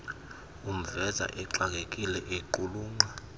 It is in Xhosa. umveza exakekile equlunqa